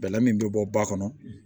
Bɛlɛ min bɛ bɔ ba kɔnɔ